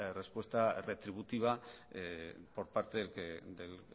respuesta retributiva por parte del